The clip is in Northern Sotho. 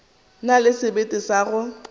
na le sebete sa go